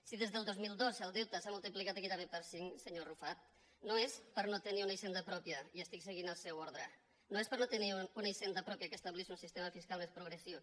si des del dos mil dos el deute s’ha multiplicat gairebé per cinc senyor arrufat no és per no tenir una hisenda pròpia i estic seguint el seu ordre que estableixi un sistema fiscal més progressiu